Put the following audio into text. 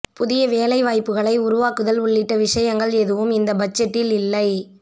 புதிய வேலைவாய்ப்புகளை உருவாக்குதல் உள்ளிட்ட விஷயங்கள் எதுவும் இந்த பட்ஜெட்டில் இல்லை